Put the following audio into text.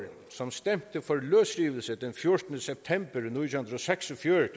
som stemte for løsrivelse den fjortende september